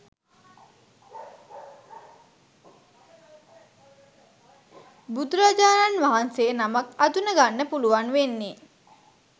බුදුරජාණන් වහන්සේ නමක් අඳුනගන්න පුළුවන් වෙන්නෙ